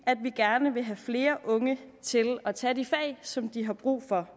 at vi gerne vil have flere unge til at tage de fag som de har brug for